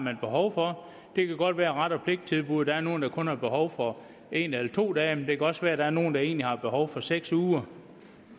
har behov for det kan godt være ret og pligt tilbuddet at der er nogle der kun har behov for en eller to dage men det kan også være at der er nogle der egentlig har behov for seks uger